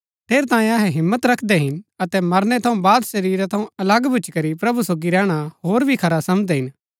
ठेरैतांये अहै हिम्मत रखदै हिन अतै मरनै थऊँ बाद शरीरा थऊँ अलग भूच्ची करी प्रभु सोगी रैहणा होर भी खरा समझदै हिन